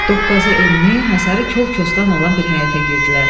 Doqqazı enli, hasarı kol-kosdan olan bir həyətə girdilər.